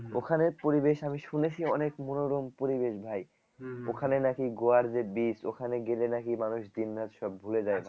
ওখানের পরিবেশ আমি শুনেছি অনেক মনোরম পরিবেশ ভাই ওখানে নাকি গোয়ার যে beach ওখানে গেলে নাকি মানুষ দিন রাত সব ভুলে যাই ভাই